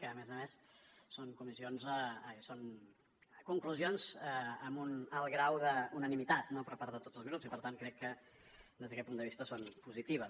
que a més a més són conclusions amb un alt grau d’unanimitat no per part de tots els grups i per tant crec que des d’aquest punt de vista són positives